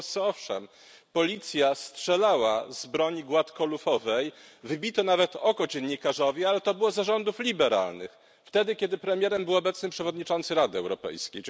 W Polsce, owszem, policja strzelała z broni gładkolufowej, wybito nawet oko dziennikarzowi, ale to było za rządów liberalnych wtedy, kiedy premierem był obecny przewodniczący Rady Europejskiej.